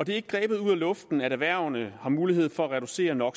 det er ikke grebet ud af luften at erhvervene har mulighed for at reducere no